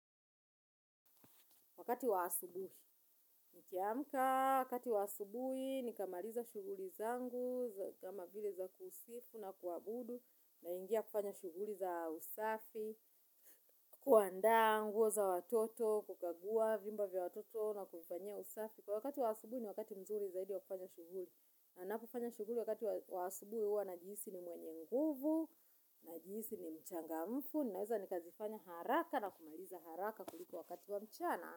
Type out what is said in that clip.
Wakati wa asubuhi, nikiamka, wakati wa asubuhi, nikamaliza shughuli zangu, kama zile za kusifu na kuabudu, naingia kufanya shughuli za usafi, kuandaa nguo za watoto, kukagua, vyumba vya watoto na kufanyia usafi. Kwa wakati wa asubuhi, ni wakati mzuri zaidi wa kufanya shughuli. Na napofanya shughuli wakati wa asubuhi huwa najihisi ni mwenye nguvu, najihisi ni mchangamfu, naweza nikazifanya haraka na kumaliza haraka kuliko wakati wa mchana.